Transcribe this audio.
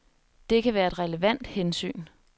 Det kan være et relevant hensyn.